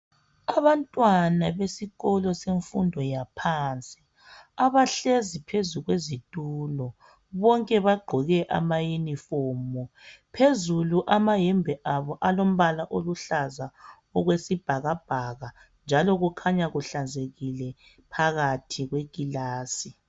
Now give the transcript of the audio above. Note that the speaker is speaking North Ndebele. Abantwana besikolo semfundo yaphansi abahlezi phezu kwezitulo bonke bagqoke ama uniform phezulu amayembe abo alombala oluhlaza okwesibhakabhaka njalo kukhanya kuhlanzekile phakathi kwekilasi